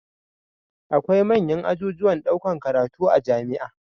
Akwai manyan ajujuwan ɗaukar karatu a jamia